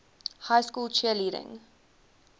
high school cheerleading